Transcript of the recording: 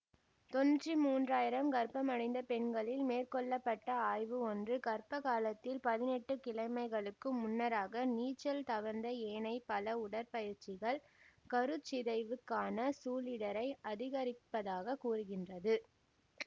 தொன்னூற்தி மூன்று ஆயிரம் கர்ப்பமடைந்த பெண்களில் மேற்கொள்ள பட்ட ஆய்வு ஒன்று கர்ப்பகாலத்தில் பதினெட்டு கிழமைகளுக்கு முன்னராக நீச்சல் தவிர்ந்த ஏனைய பல உடற்பயிற்சிகள் கருச்சிதைவுக்கான சூழிடரை அதிகரிப்பதாகக் கூறுகின்றது